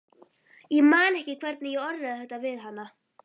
Ég man ekki hvernig ég orðaði þetta við hana.